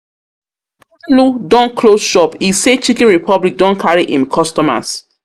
don close shop, e say Chiken Republic don carry im customers